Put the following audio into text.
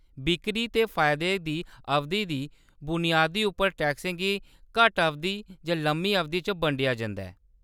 बिक्करी ते फायदे दी अवधि दी बुनियाद उप्पर, टैक्सें गी घट्ट-अवधि जां लम्मी-अवधि च बंडेआ जंदा ऐ।